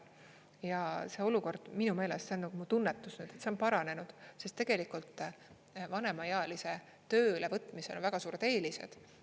Ja see olukord minu meelest, see on nagu mu tunnetus, see on paranenud, sest tegelikult vanemaealise tööle võtmisel on väga suured eelised.